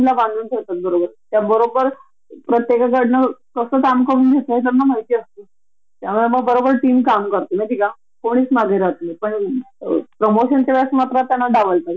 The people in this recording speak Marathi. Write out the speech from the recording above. आमच्या भरोश्या वर मूल, नवरा , सासू सासरे सगळ्यांना घरी तसंच टाकायच पांच – सहा वर्ष परदेशात जाऊन राहायच याला घरचे कोणीच तयार होत नाही हा एक मेन प्रॉब्लेम आहे आपला माहिती आहे का?